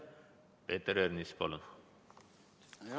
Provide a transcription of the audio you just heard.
Peeter Ernits, palun!